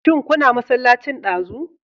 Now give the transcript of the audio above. Shin kuna masallacin ɗazu?